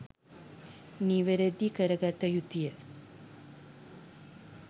නිවැරැදි කරගත යුතුය.